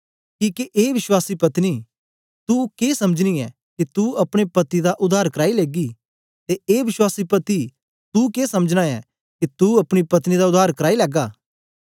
किके ए विश्वासी पत्नी तू के समझनी ऐं के तू अपने पति दा उद्धार कराई लेगी ते ए विश्वासी पति तू के समझना ऐं के तू अपनी पत्नी दा उद्धार कराई लैगा